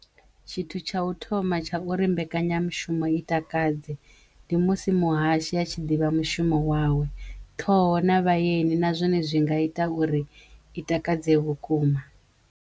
Tshithu tsha u thoma tsha uri mbekanyamushumo i takadze ndi musi muhashi a tshi ḓivha mushumo wawe ṱhoho na vhayeni na zwone zwi nga ita uri i takadze vhukuma.